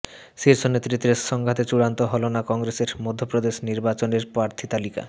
শীর্ষ নেতৃত্বের সংঘাতে চূড়ান্ত হল না কংগ্রেসের মধ্যপ্রদেশ নির্বাচনের প্রার্থী তালিকা